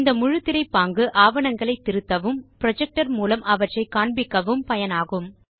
இந்த முழுத்திரை பாங்கு ஆவணங்களை திருத்தவும் புரொஜெக்டர் மூலம் அவற்றை காண்பிக்கவும் பயனாகும்